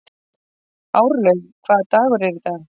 Árlaug, hvaða dagur er í dag?